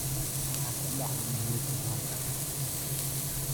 maxaa ka dhacaya nairobi maanta